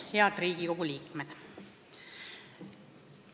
Head Riigikogu liikmed!